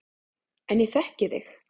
En ég þekki þig.